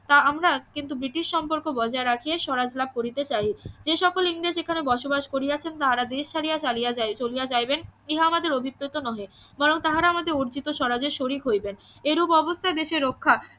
তা আমরা কিন্তু ব্রিটিশ সম্পর্ক বজায় রাখিয়া স্বরাজ লাভ করিতে চাহি যে সকল ইংরেজ এখানে বসবাস করিয়াছেন তাহারা দেশ ছাড়িয়া চলিয়া চলিয়া যাইবেন ইহা আমাদের অভিপ্রত নহে বরং তাহারা আমাদের অর্জিত স্বরাজের শরিক হইবেন এরূপ অবস্থায় দেশের রক্ষা